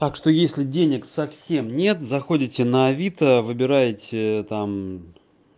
так что если денег совсем нет заходите на авито выбираете ээ там